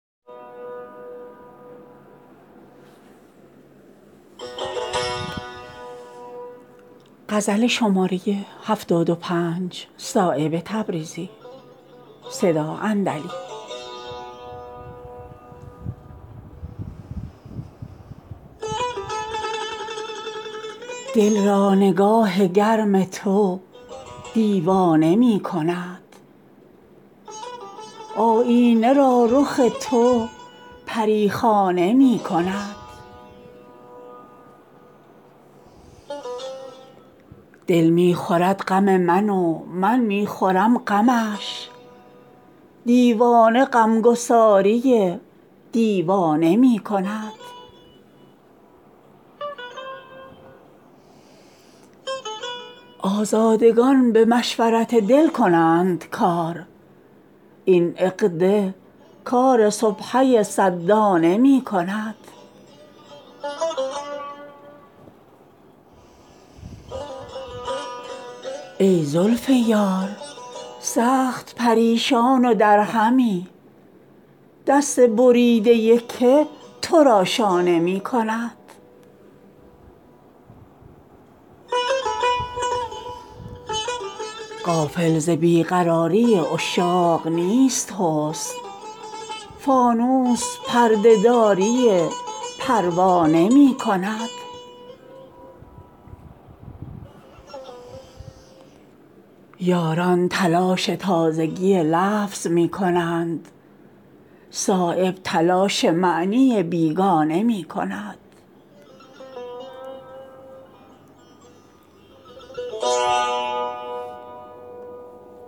دل را نگاه گرم تو دیوانه می کند آیینه را رخ تو پریخانه می کند دل می خورد غم من ومن می خورم غمش دیوانه غمگساری دیوانه می کند آزادگان به مشورت دل کنند کار این عقده کار سبحه صد دانه می کند ای زلف یار سخت پریشان ودرهمی دست بریده که ترا شانه می کند سیلی که خو به گردکدورت گرفته است در بحر یاد گوشه ویرانه می کند غافل ز بیقراری عشاق نیست حسن فانوس پرده داری پروانه می کند یاران تلاش تازگی لفظ می کنند صایب تلاش معنی بیگانه می کند